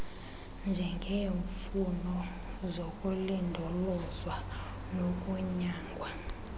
njengeemfuno zokulindolozwa nokunyangwa